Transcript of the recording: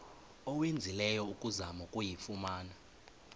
owenzileyo ukuzama ukuyifumana